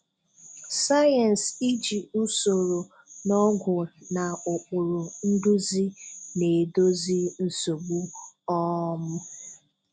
Science-Iji usoro na ọgwụ na ụkpụrụ nduzi na-èdozi nsogbu. um